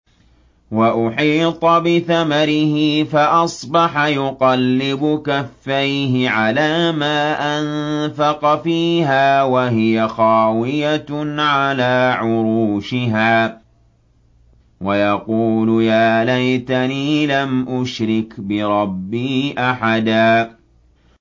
وَأُحِيطَ بِثَمَرِهِ فَأَصْبَحَ يُقَلِّبُ كَفَّيْهِ عَلَىٰ مَا أَنفَقَ فِيهَا وَهِيَ خَاوِيَةٌ عَلَىٰ عُرُوشِهَا وَيَقُولُ يَا لَيْتَنِي لَمْ أُشْرِكْ بِرَبِّي أَحَدًا